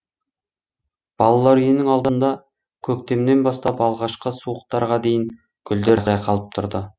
балалар үйінің алдында көктемнен бастап алғашқы суықтарға дейін гүлдер жайқалып тұрды